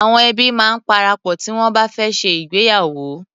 Awọn ẹbi máa ń parapọ̀ tí wọn bá fẹ́ ṣe ìgbéyàwó.